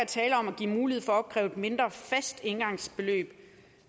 tale om at give mulighed for at opkræve et mindre fast engangsbeløb